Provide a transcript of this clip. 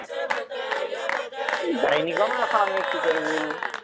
দেয়নি কেন এখন আমি কি করে বলবো